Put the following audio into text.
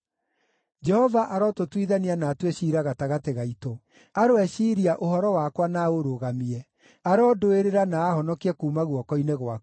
Jehova arotũtuithania na atue ciira gatagatĩ gaitũ. Aroeciiria ũhoro wakwa na aũrũgamie; arondũĩrĩra na aahonokie kuuma guoko-inĩ gwaku.”